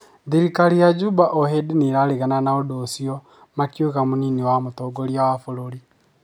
Thirikari ya Juba ohĩndĩ nĩraregana na ũndũ ũcio makiuga mũnini wa mũtongoria wa bũrũri